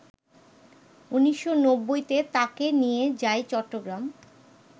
১৯৯০-তে তাঁকে নিয়ে যাই চট্টগ্রাম